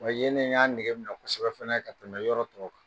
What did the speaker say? Wa yen de n y'a nɛgɛ minƐ kosɛbɛ fana ka tɛmɛ yɔrɔ tɔw kan